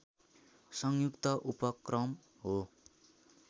संयुक्त उपक्रम हो